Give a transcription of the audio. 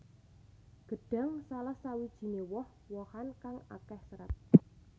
Gedhang salah sawijiné woh wohan kang akéh sêrat